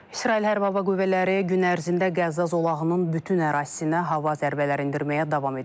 İsrail Hərbi Hava Qüvvələri gün ərzində Qəzza zolağının bütün ərazisinə hava zərbələri endirməyə davam edib.